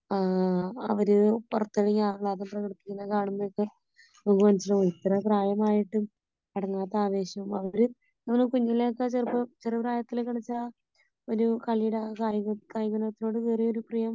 ആ അവര് പുറത്തിറങ്ങി ആഹ്ളാദം പ്രകടിപ്പിക്കുന്നത് കാണുമ്പോഴൊക്കെ നമുക്ക് മനസ്സിലാകും ഇത്ര പ്രായമായിട്ടും അടങ്ങാത്ത ആവേശം . അവര് കുഞ്ഞിലേ ഒക്കെ ചിലപ്പോ ചെറുപ്രായത്തില് കളിച്ച ഒരു കളിയുടെ അല്ലെങ്കില് കായിക വിനോദത്തിനോടുള്ള ഒരു പ്രിയം